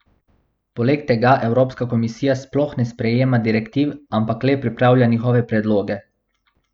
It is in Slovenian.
Poleg tega evropska komisija sploh ne sprejema direktiv, ampak le pripravlja njihove predloge.